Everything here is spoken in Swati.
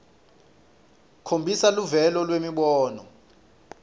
khombisa luvelo lwemibono